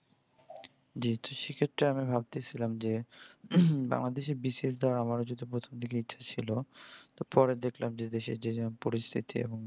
জি তো সেক্ষেত্রে আমি ভাবতেছিলাম যে বাংলাদেশে BCS দেওয়া্র আমারও প্রথম দিকে ইচ্ছা ছিল তারপরে দেখলাম যে দেশে যে যা পরিস্থিতি এবং